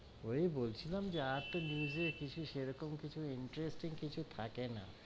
ওই বলছিলাম যে আর তো news এ কিছু সেরকম কিছূ interesting কিছু থাকে না,